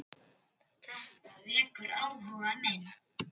Þetta vekur áhuga minn.